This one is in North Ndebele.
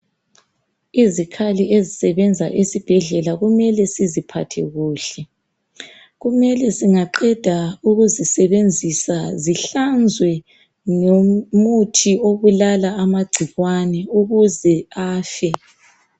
Izikhali ezisebenza esibhedlela kumele siziphathe kuhle, kumele singaqedaukuzisebenzisa zihlanzwe ngomuthi obulala amagcikwane ukuze afe.